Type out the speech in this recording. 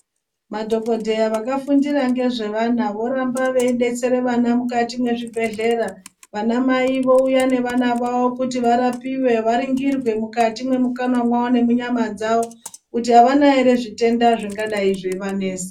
Madhokodheya vakafundira ngezvevana voramba veidetsera vana mukati mezvibhedhlera. Vanamai vouya nevana vavo kuti varapiwe varingirwe mukati mwemukanwa mwavo nemunyama dzavo kuti havana here zvitenda zveidai zvichivanesa.